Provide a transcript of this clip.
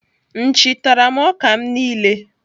Nchi tara m ọka m niile.